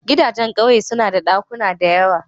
Gidajen ƙauye suna da ɗakuna da yawa.